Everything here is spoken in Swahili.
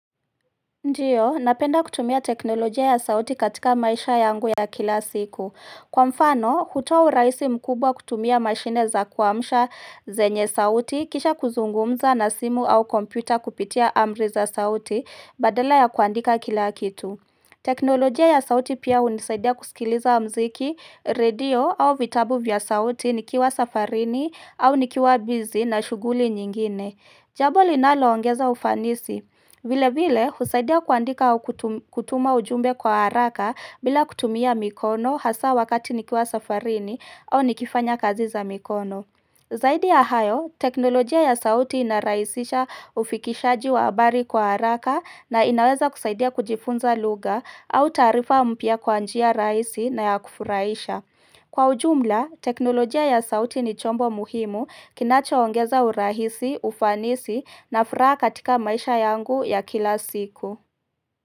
Ndiyo, napenda kutumia teknolojia ya sauti katika maisha yangu ya kila siku Kwa mfano, hutoa urahisi mkubwa kutumia mashine za kuamsha zenye sauti kisha kuzungumza na simu au kompyuta kupitia amri za sauti badala ya kuandika kila kitu teknolojia ya sauti pia hunisaidia kusikiliza wa mziki, redio au vitabu vya sauti nikiwa safarini au nikiwa busy na shuguli nyingine. Jambo linaloongeza ufanisi vile vile, husaidia kuandika au kutuma ujumbe kwa haraka bila kutumia mikono hasa wakati nikiwa safarini au nikifanya kazi za mikono. Zaidi ya hayo, teknolojia ya sauti inarahisisha ufikishaji wa habari kwa haraka na inaweza kusaidia kujifunza lugha au taarifa mpya kwa njia rahisi na ya kufurahisha. Kwa ujumla, teknolojia ya sauti ni chombo muhimu kinacho ongeza urahisi, ufanisi na furaha katika maisha yangu ya kila siku.